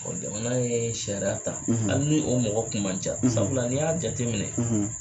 jamana ye sariya ta hali ni o mɔgɔ kun man ca sabu la ni i y'a jate minɛ